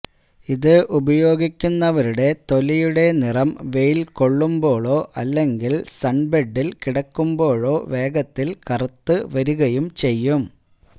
ഇത് ഉപയോഗിക്കുന്നവരുടെ തൊലിയുടെ നിറം വെയില് കൊള്ളുമ്പോഴോ അല്ലെങ്കില് സണ്ബെഡില് കിടക്കുമ്പോഴോ വേഗത്തില് കറുത്ത് വരുകയും ചെയ്യും